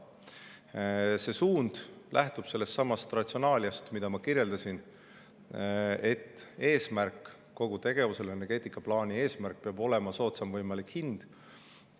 See suund lähtub sellestsamast ratsionaaliast, mida ma kirjeldasin, et kogu tegevuse ja energeetikaplaani eesmärk peab olema soodsaim võimalik hind.